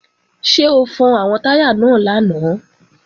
Ṣé o fọn àwọn táyà náà lánàá?